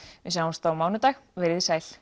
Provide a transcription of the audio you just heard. við sjáumst á mánudag veriði sæl